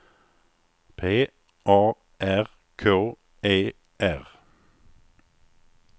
P A R K E R